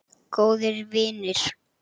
Góðir vinir.